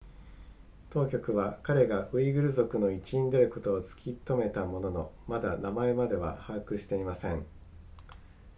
当局は彼がウイグル族の一員であることを突きとめたもののまだ名前までは把握していません